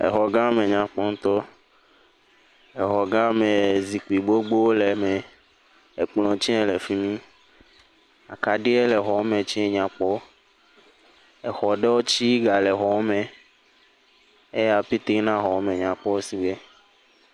Exɔ gã menyakpɔ ŋutɔ, exɔ gã me zikpui gbogbo le eme, ekplɔ tse le fi mi, akaɖi le xɔ me tse nya kpɔ, exɔ ɖewo tse gale xɔ me, eya pete na be xɔa me nyakpɔ si gbe.